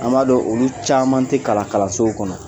An b'a dɔn olu caman tɛ kalan kalanso kɔnɔ